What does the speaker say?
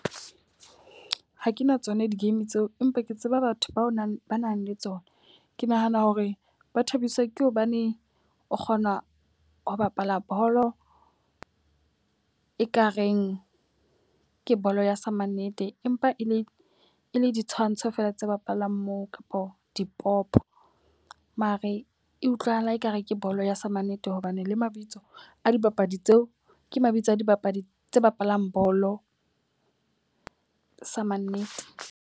Ha ke na tsona di-game tseo, empa ke tseba batho ba nang ba nang le tsona. Ke nahana hore ba thabiswa ke hobaneng o kgona ho bapala bolo e ka reng ke bolo ya sa ma nnete empa e le e le ditshwantsho fela tse bapalang moo kapa dipopo. Mare e utlwahala e ka re ke bolo ya sa ma nnete. Hobane le mabitso a dibapadi tseo ke mabitso a dibapadi tse bapalang bolo sa ma nnete.